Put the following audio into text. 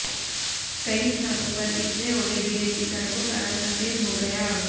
कई स्थानों पर इतने ओले गिरे की सड़कों का रंग सफेद हो गया